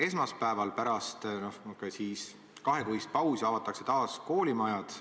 Esmaspäeval pärast kahekuist pausi avatakse taas koolimajad.